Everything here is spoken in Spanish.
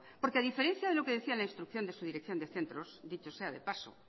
porque a diferencia de lo que decía la instrucción de su dirección de centros dicho sea de paso